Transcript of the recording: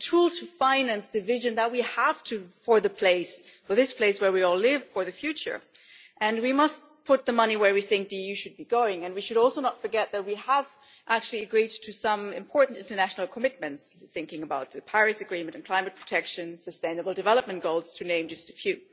It is a tool to finance the vision that we have for this place where we all live, for the future, and we must put the money where we think the EU should be going. We should not forget either that we have actually agreed some important international commitments. I am thinking of the Paris Agreement and climate protection, sustainable development goals, to name just a few.